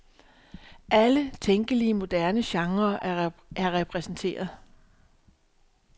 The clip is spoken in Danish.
Alle tænkelige moderne genrer er repræsenteret.